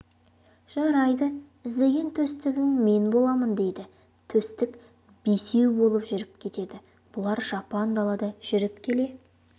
жарайды іздеген төстігің мен боламын дейді төстік бесеу болып жүріп кетеді бұлар жапан далада жүріп келе